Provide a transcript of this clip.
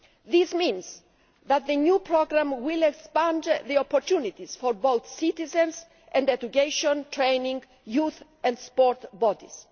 This means that the new programme will expand the opportunities for both citizens and education, training, youth and sports bodies.